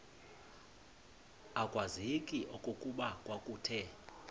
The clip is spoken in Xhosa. akwazeki okokuba kwakuthe